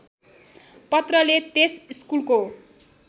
पत्रले त्यस स्कुलको